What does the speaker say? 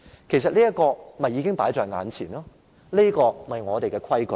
其實，這已是放在眼前，這便是我們的規矩。